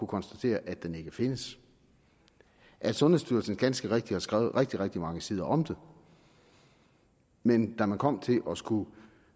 konstateret at den ikke findes sundhedsstyrelsen har ganske rigtigt skrevet rigtig rigtig mange sider om det men da man kom til at skulle